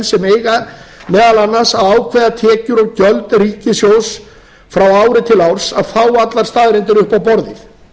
sem eiga meðal annars að ákveða tekjur og gjöld ríkissjóðs frá ári til árs að fá allar staðreyndir upp á borðið